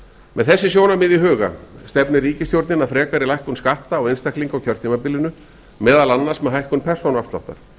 með þessi sjónarmið í huga stefnir ríkisstjórnin að lækkun skatta á einstaklinga á kjörtúiambilinu meðal annars með hækkun persónuafsláttar